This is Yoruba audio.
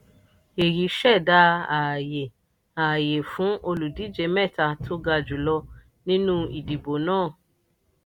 èyí ṣẹ̀dá ààyè ààyè fún olùdíje mẹ́ta tó ga jùlọ nínú ìdìbò náà.